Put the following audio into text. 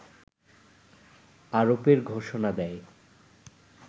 আরোপের ঘোষণা দেয়